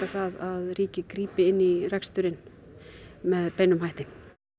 að ríkið grípi inn í reksturinn með beinum hætti